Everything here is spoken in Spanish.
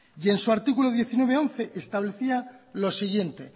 y en su artículo diecinueve punto once establecía lo siguiente